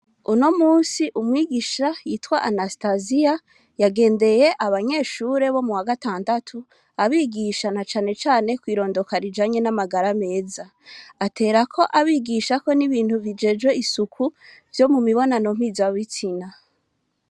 Unomusi umwigisha yitwa anastaziya, nagendeye abanyeshure bo muwa gatandatu abigisha na cane cane kw'irondoka rijanye n'amagara meza, aterakobabogisha n'ibintu bijejwe isuku vyo mumibonano mpuza bitsina.